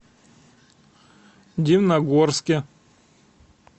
дивногорске